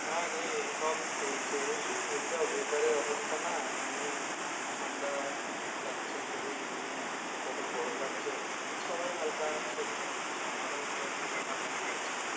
হ্যাঁ রে সব চলছে এই weather যে অবস্থা না নিয়ে ঠান্ডা লাগছে নিয়ে সবাই হালকা শরীর খারাপ হচ্ছে আমারও ধর হালকা ঠান্ডা লেগে আছে।